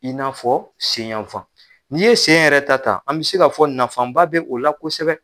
I n'a fɔ sen y'an fan n'i ye sen yɛrɛ ta ta an bi se k'a fɔ nafaba b'o la kosɛbɛ